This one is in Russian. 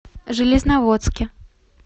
железноводске